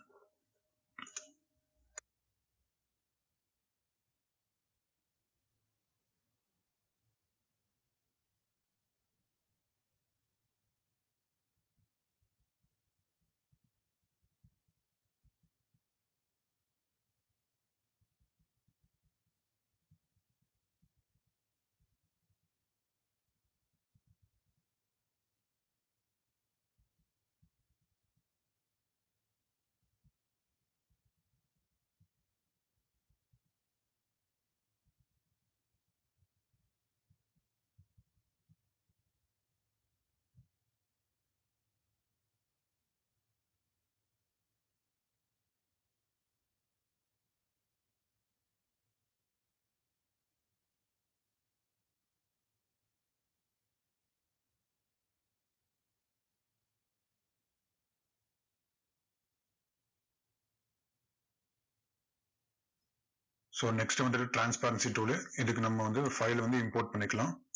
so next வந்துட்டு transparency tool உ. இதுக்கு நம்ம வந்து file அ வந்து import பண்ணிக்கலாம்.